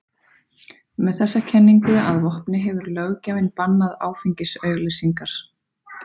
Með þessa kenningu að vopni hefur löggjafinn bannað áfengisauglýsingar.